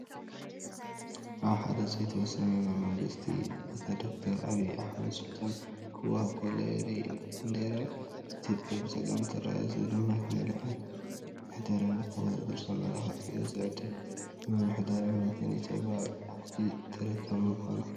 ኣብ ሓደ ዝተወሰነ ናይ መንግስቲ ቦታ ንዶ/ር ኣብይ ኣሕመድ ስልጣን ክዋሃብ ከሎ የርኢ። ባንዴራ ኢትዮጵያ ብጸጋም ትረአ ፡ እዚ ድማ ንዕድል ምሕደራ ክወዳደርን ዘመላኽት እዩ። እዚ ንዕድል ምሕደራን እምነትን ኢ/ያ ኣብቲ ተረካቢ ምኳኑ እዩ፡፡